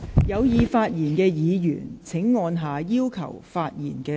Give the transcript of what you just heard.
有意發言的議員請按下"要求發言"按鈕。